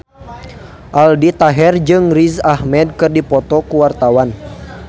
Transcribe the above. Aldi Taher jeung Riz Ahmed keur dipoto ku wartawan